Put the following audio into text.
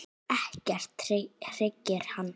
Ekkert hryggir hann.